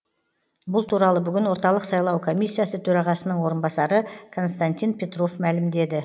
бұл туралы бүгін орталық сайлау комиссиясы төрағасының орынбасары константин петров мәлімдеді